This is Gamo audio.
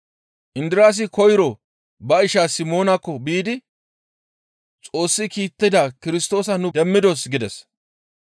Indiraasi koyro ba isha Simoonaakko biidi, «Xoossi kiittida Kirstoosa nu demmidos!» gides.